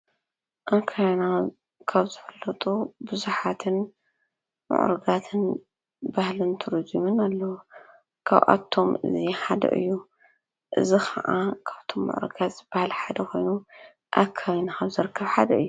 አብ ከባቢና ካብ ዝፍለጡ ብዙሓትን ሙዑሩጋትን ባህልን ቱሪዚም አለው፡፡ ካብአቶም እዚ ሓደ እዩ፡፡ እዚ ከዓ ካብቶም መግለፂ ዝብሃል ሓደ ኮይኑ፤ አብ ከባቢና ካብ ዝርከቡ ሓደ እዩ፡፡